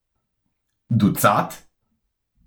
Ducat?